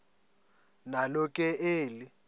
nalo ke eli